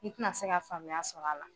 I tɛna se ka faamuya sɔrɔ a la